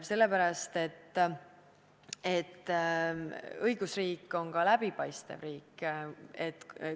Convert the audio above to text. Sellepärast, et õigusriik on ka läbipaistev riik.